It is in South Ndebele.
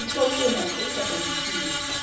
litloliwe namkha ligadangisiwe